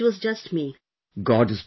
No no Sir, it was just me